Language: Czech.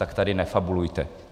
Tak tady nefabulujte.